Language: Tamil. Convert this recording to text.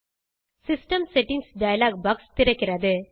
சிஸ்டம் செட்டிங்ஸ் டயலாக் பாக்ஸ் திறக்கிறது